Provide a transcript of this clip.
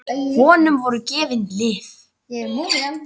Honum voru gefin lyf.